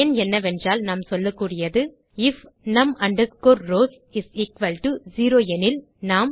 பயன் என்னவென்றால் நாம் சொல்லக்கூடியது IF num rows is equal to zero எனில் நாம்